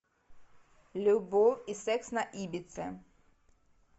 любовь и секс на ибице